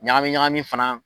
Ɲagaɲagami fana